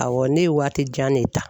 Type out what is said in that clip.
Awɔ ne ye waati jan de ta.